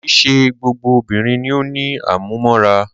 Kìí ṣe gbogbo obìnrin ni o ní àmúmóra.